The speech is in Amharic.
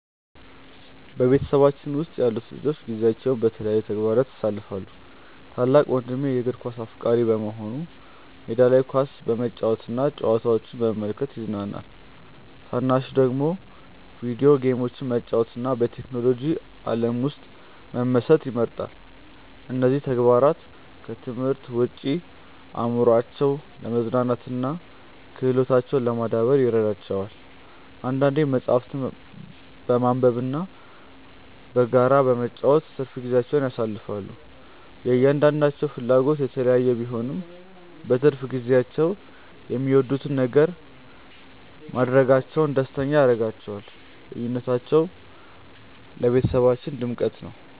በቤተሰባችን ውስጥ ያሉት ልጆች ጊዜያቸውን በተለያዩ ተግባራት ያሳልፋሉ። ታላቅ ወንድሜ የእግር ኳስ አፍቃሪ በመሆኑ ሜዳ ላይ ኳስ በመጫወትና ጨዋታዎችን በመመልከት ይዝናናል። ታናሹ ደግሞ የቪዲዮ ጌሞችን መጫወትና በቴክኖሎጂ ዓለም ውስጥ መመሰጥ ይመርጣል። እነዚህ ተግባራት ከትምህርት ውጭ አእምሯቸውን ለማዝናናትና ክህሎታቸውን ለማዳበር ይረዷቸዋል። አንዳንዴም መጽሐፍትን በማንበብና በጋራ በመጫወት ትርፍ ጊዜያቸውን ያሳልፋሉ። የእያንዳንዳቸው ፍላጎት የተለያየ ቢሆንም፣ በትርፍ ጊዜያቸው የሚወዱትን ነገር ማድረጋቸው ደስተኛ ያደርጋቸዋል። ልዩነታቸው ለቤተሰባችን ድምቀት ነው።